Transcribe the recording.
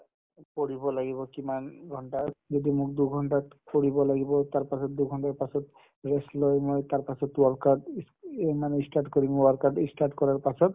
পঢ়িব লাগিব কিমান ঘণ্টাৰ যদি মোক দুঘণ্টাত ফুৰিব লাগিব তাৰপাছত দুঘণ্টাৰ পাছত rest লৈ মই তাৰপাছত work out ইয়ে মানে ই start কৰিম work out ই start কৰাৰ পাছত